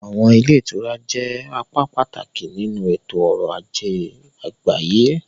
Àwọn ilé ìtura jẹ́ apá pàtàkì nínú ètò ọrọ̀ ajé àgbáyé.